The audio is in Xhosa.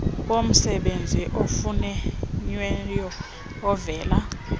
bomsebenzi ofunyenweyo ovela